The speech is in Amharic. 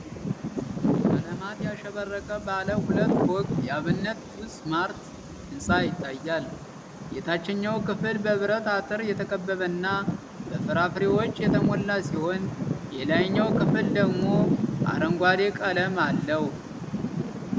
ቀለማት ያሸበረቀ ባለ ሁለት ፎቅ የ"አብነት ጁስ & ማርት" ህንፃ ይታያል። የታችኛው ክፍል በብረት አጥር የተከበበና በፍራፍሬዎች የተሞላ ሲሆን፣ የላይኛው ክፍል ደግሞ አረንጓዴ ቀለም አለው።